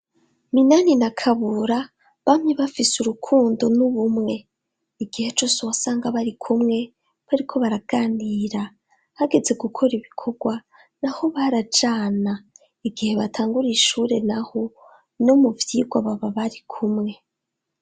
Minani na Kabura bamye bafise urukundo n'ubumwe. Igihe cose wasanga bari kumwe, bariko baraganira. Hageze gukora ibikorwa, naho barajana. Igihe batangura ishure naho, no mu vyigwa baba bari kumwe.